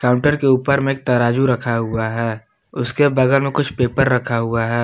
Counter के ऊपर में एक तराजू रखा हुआ है उसके बगल में कुछ पेपर रखा हुआ है।